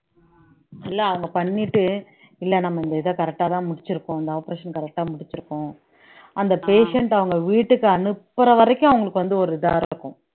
இல்ல அவங்க பண்ணிட்டு இல்ல நம்ம இந்த இதை correct ஆதான் முடிச்சிருக்கோம் இந்த operation correct ஆ முடிச்சிருக்கோம் அந்த patient அவங்க வீட்டுக்கு அனுப்புற வரைக்கும் அவங்களுக்கு வந்து ஒரு இதா இருக்கும்